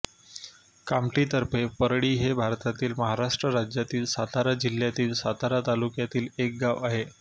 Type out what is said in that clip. कामठी तर्फे परळी हे भारतातील महाराष्ट्र राज्यातील सातारा जिल्ह्यातील सातारा तालुक्यातील एक गाव आहे